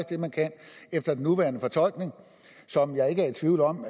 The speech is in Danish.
det man kan efter nuværende fortolkning som jeg ikke er i tvivl om